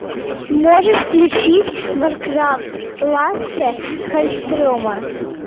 можешь включить варкрафт лассе халльстрема